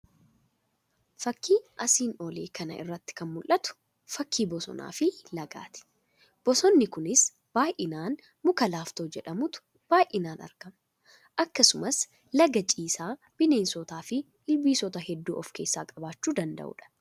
Fakii asiin olii kana irratti kan mul'atu fakii bosonaa fi lagaati. Bosonni kunis baay'inaan muka laaftoo jedhamutu baayinaan argama. Akkasumas laga ciisaa bineensotaa fi ilbiisota hedduu of keessatti qabachuu danda'udha.